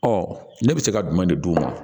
Ɔ ne bɛ se ka jumɛn de d'u ma